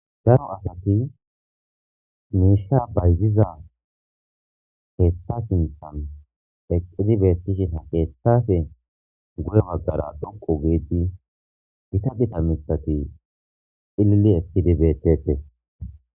Daro asati misha bayziza keetha sinthan eqidi beetishin keethape guye bagara dhoqu giidi gita gita mithati cilili eqidi beetetes.